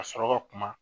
Ka sɔrɔ ka kuma